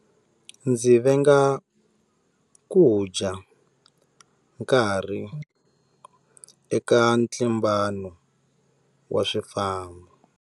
Ndzi venga ku dya nkarhi eka ntlimbano wa swifambo.